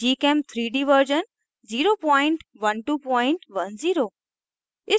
gchem3d version 01210